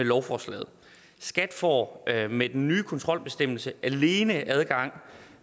lovforslaget skat får med den nye kontrolbestemmelse alene adgang